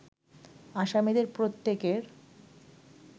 আসামিদের প্রত্যেকের